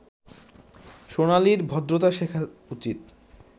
সোনালির ভদ্রতা শেখা উচিত